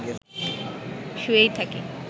শুয়েই থাকি